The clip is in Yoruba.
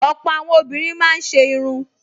Ọ̀pọ̀ àwọn obìnrin máa ń ṣe irun